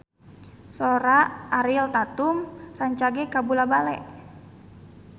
Sora Ariel Tatum rancage kabula-bale